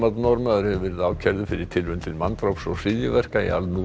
Norðmaður hefur verið ákærður fyrir tilraun til manndráps og hryðjuverka í al